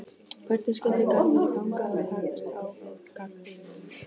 Hvernig skyldi Garðari ganga að takast á við gagnrýnina?